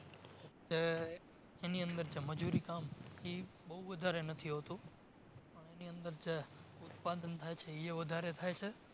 એની અંદર જે મજૂરી કામ ઇ બોવ વધારે નથી હોતું અને એની અંદર જે ઉત્પાદન થાય છે એ વધારે થાય છે